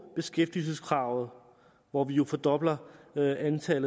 beskæftigelseskravet hvor vi jo fordobler det antal